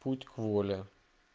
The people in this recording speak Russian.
путь к воле